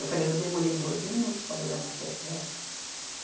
Eu falei, eu demorei doze minutos para bordar uma peça dessa.